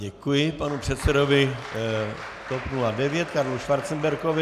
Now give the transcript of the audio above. Děkuji panu předsedovi TOP 09 Karlu Schwarzenbergovi.